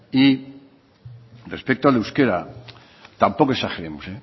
y respecto al euskera tampoco exageremos